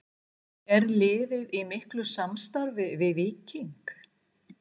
Er liðið í miklu samstarfi við Víking?